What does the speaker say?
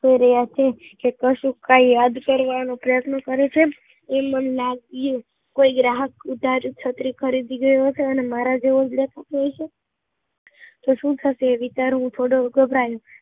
કર્યા છે, કે કશુંક યાદ કરવાનો પ્રયત્ન કરે છે એવું મને લાગિયું, ક્યાંક ઉધરું છત્રી ખરીદી ગયો હશે, મારા જેવો હશે તો શું થશે? તે વિચાર્યું અને ઘભરાયો